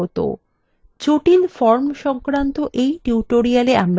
জটিল forms সংক্রান্ত in tutorial আমরা শিখব: